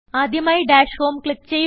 ആദ്യമായി dash home click ചെയ്യുക